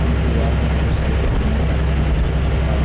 दीवाल में बहुत सारे खाने का डिश छपा--